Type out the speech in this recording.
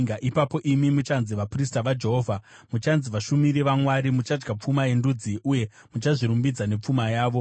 Ipapo imi muchanzi vaprista vaJehovha, muchanzi vashumiri vaMwari. Muchadya pfuma yendudzi, uye muchazvirumbidza nepfuma yavo.